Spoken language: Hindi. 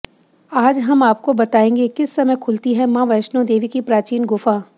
आज हम आपको बताएंगे किस समय खुलती है मां वैष्णो देवी की प्राचीन गुफा